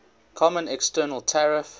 common external tariff